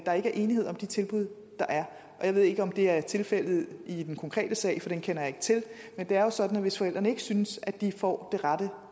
der ikke er enighed om de tilbud der er og jeg ved ikke om det er tilfældet i den konkrete sag for den kender jeg ikke til men det er jo sådan at hvis forældrene ikke synes at de får det rette